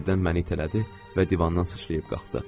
Qəfildən məni itələdi və divandan sıçrayıb qalxdı.